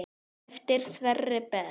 Eftir Sverri Berg.